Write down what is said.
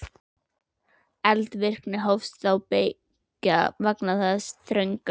Eldvirkni hófst þá beggja vegna þess þrönga